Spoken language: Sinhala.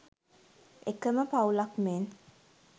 එකම පවුලක් මෙන්